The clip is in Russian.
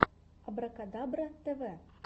абракадабра тв